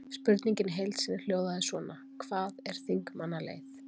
Spurningin í heild sinni hljóðaði svona: Hvað er þingmannaleið?